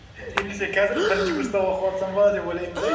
немесе қазір бірінші курста оқватсам ба деп ойлаймын да